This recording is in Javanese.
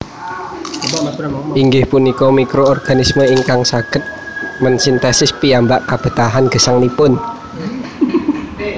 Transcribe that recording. Inggih punika mikroorganisme ingkang saged mensintesis piyambak kabetahan gesangipun